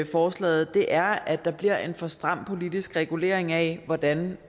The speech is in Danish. forslaget er at der bliver en for stram politisk regulering af hvordan